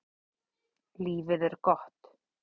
Lífið er gott.